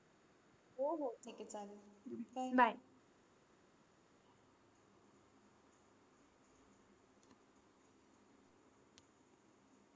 हो, हो. ठीक आहे चालेल. bye